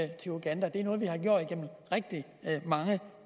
til uganda det er noget vi har gjort igennem rigtig mange